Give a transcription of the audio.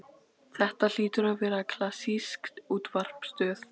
Þetta hlýtur að vera klassísk útvarpsstöð.